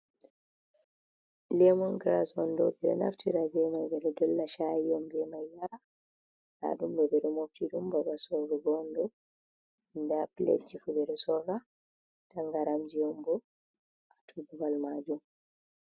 Lemon giras on ɗo, ɓeɗo naftira be mai ɓeɗo dolla chayi on ɓe mai yara, ɗa ɗum beɗo mofti ɗun babal sorrugo on ɗo, nda piletji fu ɓeɗo sorra, tangaramji on bo, ha babal majum.